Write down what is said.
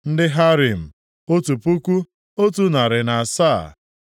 ndị Harim, otu puku, otu narị na asaa (1,107).